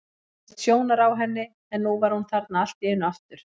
Ég hafði misst sjónar á henni en nú var hún þarna allt í einu aftur.